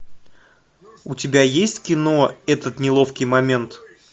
у тебя есть кино этот неловкий момент